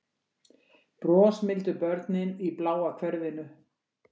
Brosmildu börnin í bláa hverfinu